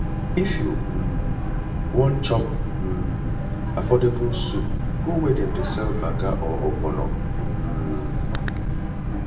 if you um wan chop um affordable soup go where dem dey sell banga or ogbono um